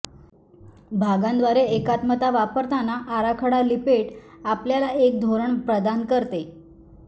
भागांद्वारे एकात्मता वापरताना आराखडा लिपेट आपल्याला एक धोरण प्रदान करते